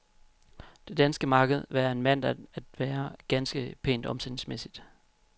Det danske marked var af en mandag at være ganske pænt omsætningsmæssigt.